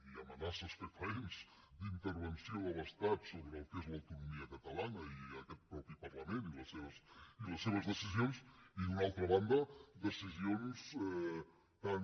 i amenaces fefaents d’intervenció de l’estat sobre el que és l’autonomia catalana i aquest mateix parlament i les seves decisions i d’una altra banda decisions tan